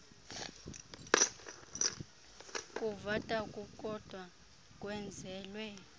kuvota kukodwa kwenzelwe